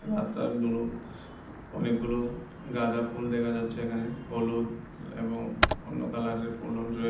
রাস্তার অনেকগুলো গাঁদা ফুল দেখা যাচ্ছে এখানে হলুদ এবং অন্য কালারের ফুলও --